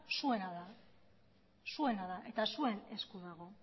zuena da eta zuen esku dago